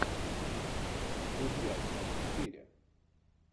друзья часть четыре